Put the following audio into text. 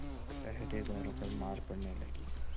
पहरेदारों पर मार पड़ने लगी